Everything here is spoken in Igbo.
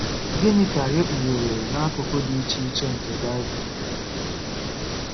Gịnị ka e kpughere n’akụkụ dị iche iche nke Bible?